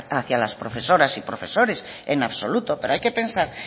hacía las profesoras y profesores en absoluto pero hay que pensar